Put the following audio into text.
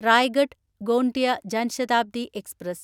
Raigad Gondia Jan Shatabdi express